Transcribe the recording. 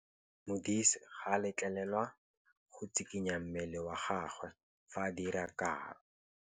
Modise ga a letlelelwa go tshikinya mmele wa gagwe fa ba dira karô.